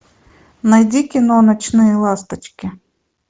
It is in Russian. найди кино ночные ласточки